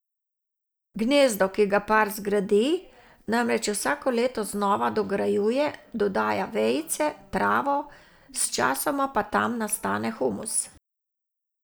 Gnezdo, ki ga par zgradi, namreč vsako leto znova dograjuje, dodaja vejice, travo, s časoma pa tam nastane humus.